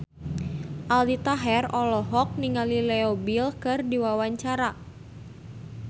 Aldi Taher olohok ningali Leo Bill keur diwawancara